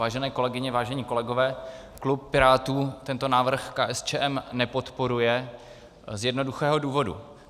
Vážené kolegyně, vážení kolegové, klub Pirátů tento návrh KSČM nepodporuje z jednoduchého důvodu.